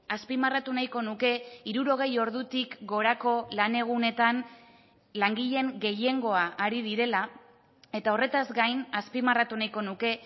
azpimarratu nahiko nuke hirurogei ordutik gorako lan egunetan langileen gehiengoa ari direla eta horretaz gain azpimarratu nahiko nuke